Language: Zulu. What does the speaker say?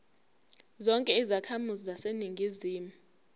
zonke izakhamizi zaseningizimu